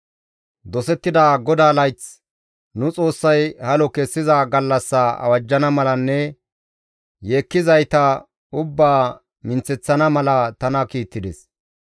Dosettida GODAA layth, nu Xoossay halo kessiza gallassa awajjana malanne yeekkizayta ubbaa minththeththana mala tana kiittides.